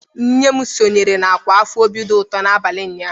Nne m sonyeere ọkwa afọ obi dị ụtọ n'abalị ụnyaahụ.